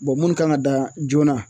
minnu kan ka dan joona